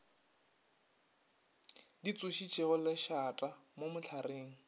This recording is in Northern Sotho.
di tsošitšego lešata mo mohlareng